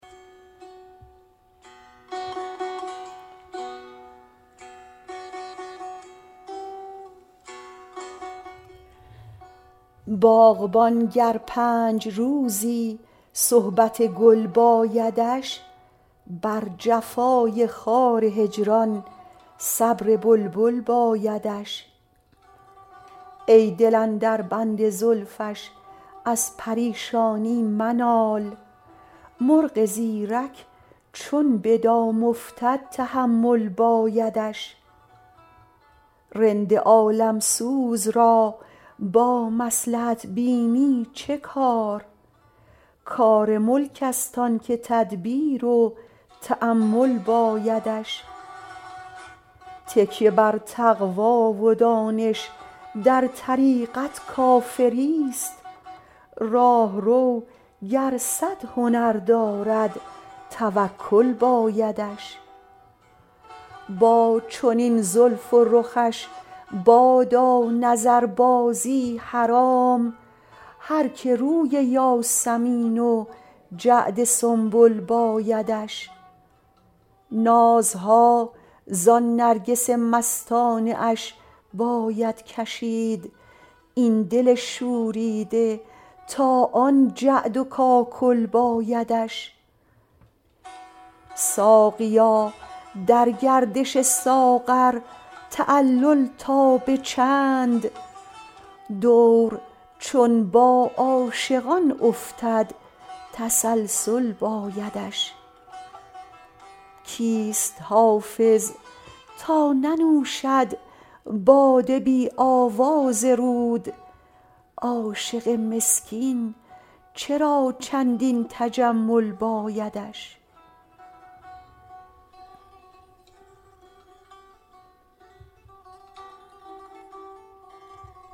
باغبان گر پنج روزی صحبت گل بایدش بر جفای خار هجران صبر بلبل بایدش ای دل اندر بند زلفش از پریشانی منال مرغ زیرک چون به دام افتد تحمل بایدش رند عالم سوز را با مصلحت بینی چه کار کار ملک است آن که تدبیر و تأمل بایدش تکیه بر تقوی و دانش در طریقت کافری ست راهرو گر صد هنر دارد توکل بایدش با چنین زلف و رخش بادا نظربازی حرام هر که روی یاسمین و جعد سنبل بایدش نازها زان نرگس مستانه اش باید کشید این دل شوریده تا آن جعد و کاکل بایدش ساقیا در گردش ساغر تعلل تا به چند دور چون با عاشقان افتد تسلسل بایدش کیست حافظ تا ننوشد باده بی آواز رود عاشق مسکین چرا چندین تجمل بایدش